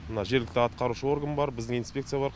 мына жергілікті атқарушы орган бар біздің инспекция бар